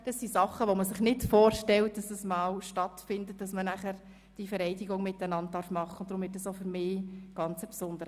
Das ist etwas, was man sich nicht vorstellt: dass man einmal diese Vereidigung gemeinsam vornehmen wird.